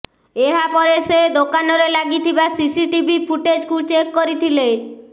ଏହା ପରେ ସେ ଦୋକାନରେ ଲାଗିଥିବା ସିସିଟିଭି ଫୁଟେଜକୁ ଚେକ୍ କରିଥିଲେ